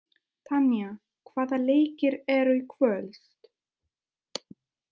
Tanja, hvaða leikir eru í kvöld?